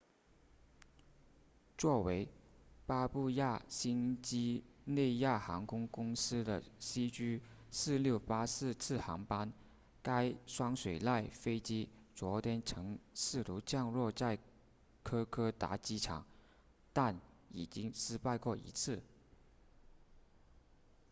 作为巴布亚新几内亚航空公司的 cg4684 次航班该双水獭飞机昨天曾试图降落在科科达机场但已经失败过一次